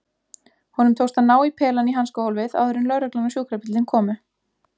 Honum tókst að ná í pelann í hanskahólfið áður en lögreglan og sjúkrabíllinn komu.